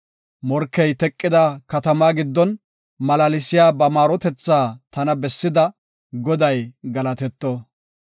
Morkey teqida katamaa giddon, malaalsiya ba maarotethaa tana bessida, Goday galatetto.